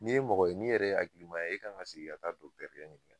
N'i ye mɔgɔ ye n'i yɛrɛ ye akilima ye e kan ka segi ka ta d dɔkitɛrikɛ ɲininga